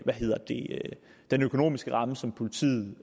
den økonomiske ramme som politiet